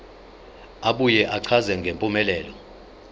abuye achaze ngempumelelo